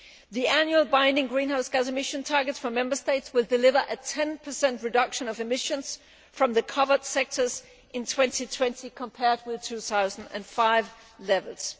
The annual binding greenhouse gas emission targets for Member States will deliver a 10 reduction of emissions from the covered sectors in 2020 compared with 2005 levels.